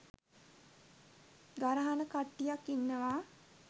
ගරහන කට්ටියක් ඉන්නවා.